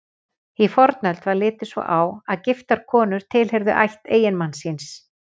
Í fornöld var litið svo á að giftar konur tilheyrðu ætt eiginmanns síns.